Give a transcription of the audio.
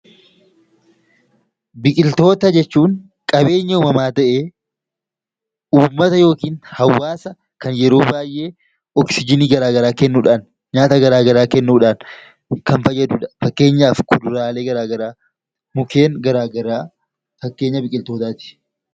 Biqiltoota jechuun qabeenya uumamaa ta'ee, uummata yookaan hawaasa kan yeroo baayyee oksijiinii kennuudhaan nyaata garaagaraa kennuudhaan kan fayyadudha. Fakkeenyaaf kuduraalee, mukkeen garaagaraa fakkeenya biqiltootaati.